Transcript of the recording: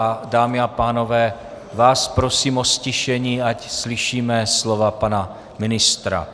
A dámy a pánové, vás prosím o ztišení, ať slyšíme slova pana ministra.